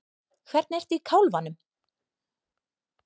Hvernig ertu í kálfanum?